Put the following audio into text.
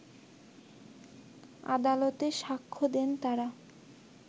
আদালতে সাক্ষ্য দেন তারা